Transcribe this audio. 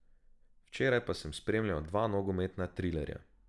Včeraj pa sem spremljal dva nogometna trilerja.